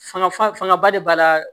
Fanga faga ba de b'a la